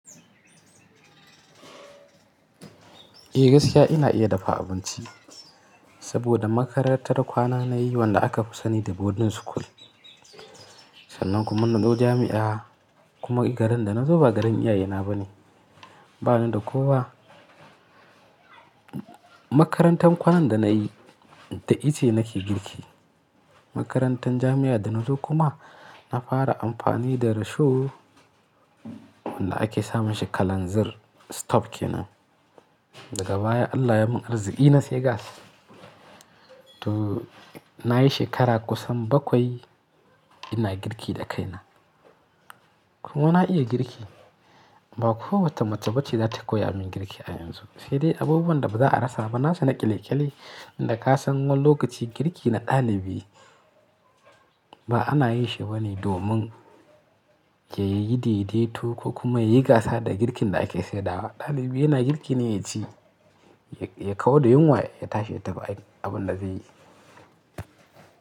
Eh gaskiya ina iya dafa abinci saboda makarantar kwana na yi wanda aka fi sani da boarding school. Sannan kuma nazo jami'a kuma garin da na zo ba garin iyaye na ba ne. Ba ni da kowa. Makarantar kwanan da na yi da ice nake girki. Makarantan jami'a da na zo kuma na fara amfani da risho wanda ake samun shi kalanzir stop ke nan. Daga baya Allah ya mun arziki na sayi gas. To na yi shekara kusan bakwai ina girki da kaina. Kuma na iya girki ba kowace mace ba ce za ta koyi a min girki a yanzu. Sai dai abubuwan da ba za a rasa ba na su na ƙile ƙile inda ka san wani lokaci girki na ɗalibi ba ana yi shi bane domin ya yi daidai to ko kuma ya yi gasa da girkin da ake saidawa. Ɗalibi yana girki ne ya ci, ya kau da yunwa ya tashi ya tafi abun da zai yi.